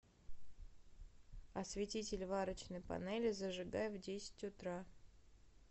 осветитель варочной панели зажигай в десять утра